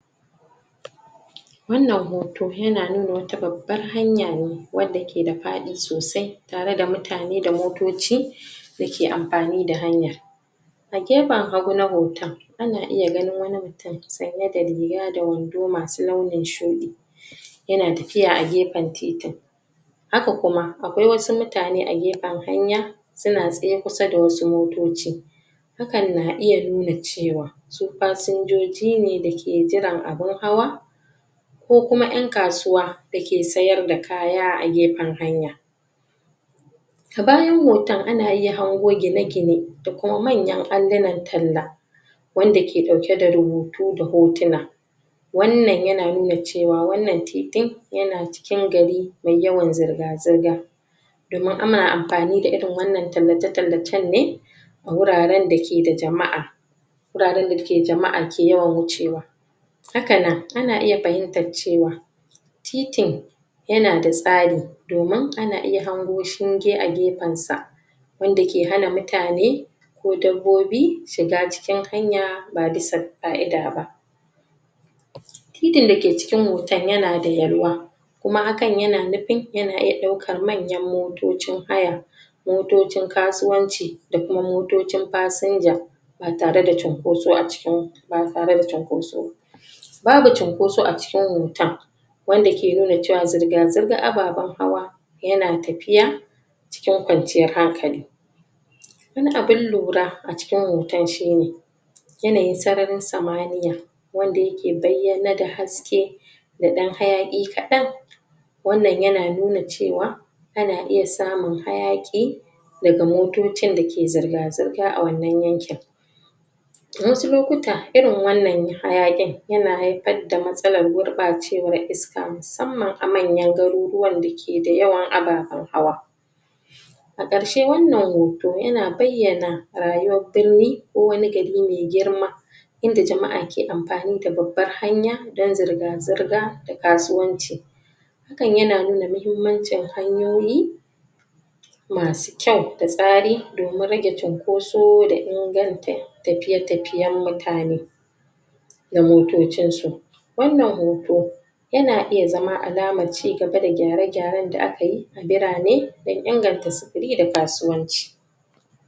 wannan hoto yana nuna wata babbar hanya ne wadda ke da faɗi sosai tare da mutane da motoci dake amfani da hanyar a gefen hagu na hotan ana iya ganin wani mutum sanye da riga da wando masu launin shuɗi yana tafiya a gefen titin haka kuma akwai wasu mutane a gefen hanya suna tsaye kusa da wasu motoci hakan na iya nuna cewa su fashinjoji ne dake jiran abun hawa ko kuma ƴan kasuwa dake siyar da kaya a gefen hanya a bayan hoto ana hanguana iya gine gine da kuam manyan allinan tallah wanda ke ɗauke da rubutu da hotona wannan yana nuna cewa wannan titin yana cikin gari me yawan zirga zirga domin ana amfani da irin wannan tallace tallacan ne wuraran dake da jama'a wuraran da jama'a ke yawan wucewa hakana ana iya fahimtar cewa titin yana da tsare domin ana iya hangu shinge a gefensa wanda ke hana mutane ko dabbobi shiga cikin hanya ba bisa ƙa'ida ba titin dake ciki hotan yana da yalwa kuma hakan yana nufin yana iya ɗaukar manyan motocin haya motocin kasuwanci da kuma motocin fashinja ba tare da cunkosa a cikin ba tare da cunkoso babu cunkoso a cikin hotan wadda ke nune cewa zirga zirgar ababan hawa yana tafiya cikin kwanciyar hankali wani abun lura a ciki hotan yanayin sararin samaniya wanda yake bayyane da haske da ɗan hayaki kaɗan wannan yana nuna cewa ana iya samun hayaki daga motocin dake zirga zirga a wannan yankin a wasu lokuta irin wannan hayakin yana haifar da matsalar gurɓacewar iska musamman a manyan garuruwan dake da yawan ababan hawa a karshe wannan hoto yana bayyana rayuwar birni ko wani gari me girma inda jama'a ke ammfanibabbar hanya da zirga zirga da kasuwanci hakan yana nuna mahimmancin hanyoyi masu kyau da tsare domin rage cinkoso da inganta tafiye tafiyan mutane da motocinsu wannan hoto yana zama alamar cigaba da gyare gyaran da akai birane dan inganta sifiri da kasuwanci